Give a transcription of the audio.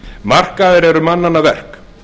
markaðir eru mannanna verk